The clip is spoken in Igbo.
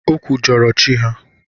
Ọ kwujọrọ chi ha.